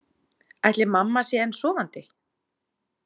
Ætli mamma sé enn sofandi?